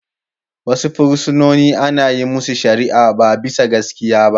Wasu fursunonin ana yin masu shari'a ba bisa gaskiya ba.